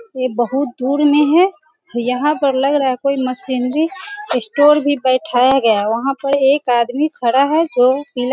ये बहुत दूर में हैं यहाँ पर लग रहा हैं कोई मशीनरी स्टोर भी बैठाया गया वहाँ पर एक आदमी खड़ा हैं जो पीला --